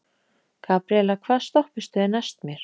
Gabriela, hvaða stoppistöð er næst mér?